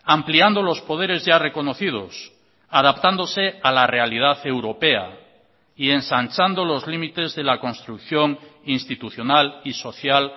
ampliando los poderes ya reconocidos adaptándose a la realidad europea y ensanchando los límites de la construcción institucional y social